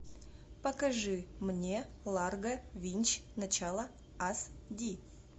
покажи мне ларго винч начало ас ди